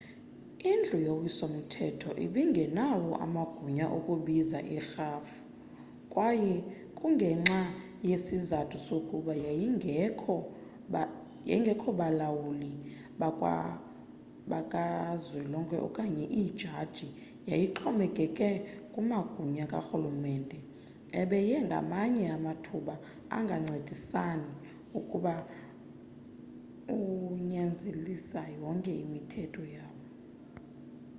indlu yowiso mthetho ibingenawo amagunya okubiza irhafui kwaye kungenxa yesizathu sokuba yayingekho balawuli bakazwelonke okanye iijaji yayixhomekeke kumagunya karhulumente ebeye ngamanye amathuba angancedisani ukunyanzelisa yonke imithetho yawo